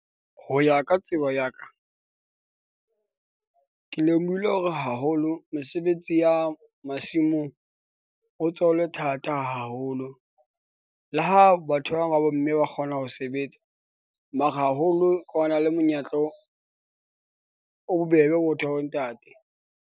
Ho ya ka tsebo ya ka , ke lemohile hore haholo mesebetsi ya masimong ho so le thata haholo, le ha batho ba bang ba bo mme ba kgona ho sebetsa. Mara haholo ho na le monyetla o, o, o bobebe ho batho ba bo ntate.